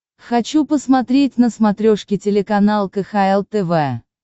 хочу посмотреть на смотрешке телеканал кхл тв